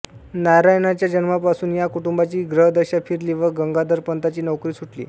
नारायणाच्या जन्मापासून या कुटुंबाची ग्रहदशा फिरली व गंगाधरपंतांची नोकरी सुटली